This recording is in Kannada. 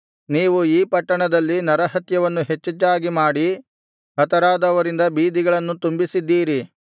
ನೀವು ಈ ಪಟ್ಟಣದಲ್ಲಿ ನರಹತ್ಯವನ್ನು ಹೆಚ್ಚೆಚ್ಚಾಗಿ ಮಾಡಿ ಹತರಾದವರಿಂದ ಬೀದಿಗಳನ್ನು ತುಂಬಿಸಿದ್ದೀರಿ